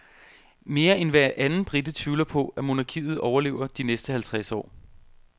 Mere end hver anden brite tvivler på, at monarkiet overlever de næste halvtreds år.